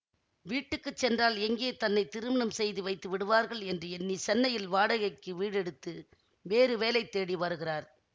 வீட்டுக்கு சென்றால் எங்கே தன்னை திருமணம் செய்து வைத்து விடுவார்கள் என்று எண்ணி சென்னையில் வாடகைக்கு வீடெடுத்து வேறு வேலைத்தேடி வருகிறார்